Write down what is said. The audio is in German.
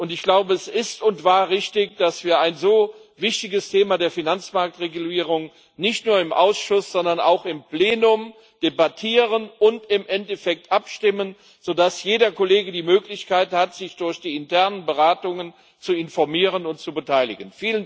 Ich glaube, es ist und war richtig, dass wir ein so wichtiges Thema der Finanzmarktregulierung nicht nur im Ausschuss, sondern auch im Plenum debattieren und im Endeffekt darüber abstimmen, sodass jeder Kollege die Möglichkeit hat, sich durch die internen Beratungen zu informieren und zu beteiligen.